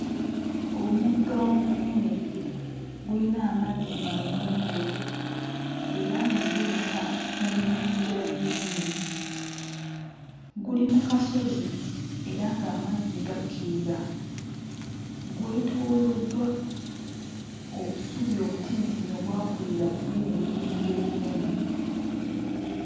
Omugga omunene guyina amazzi mayonjo, era nga guyita mu biyinja ebinene guli mu kasozi era ng'amazzi gakkirira, gwetooloddwa obusubi obutinitini obwakulira ku bino ebiyinja ebinene.